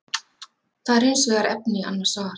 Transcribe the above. Það er hins vegar efni í annað svar.